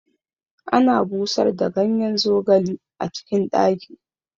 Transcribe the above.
Ana busar da ganyen zogali a cikin ɗaki